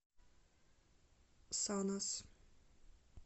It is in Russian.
санас